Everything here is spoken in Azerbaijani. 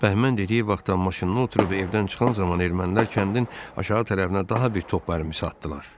Bəhmən dediyi vaxtda maşınına oturub evdən çıxan zaman ermənilər kəndin aşağı tərəfinə daha bir top atmışdılar.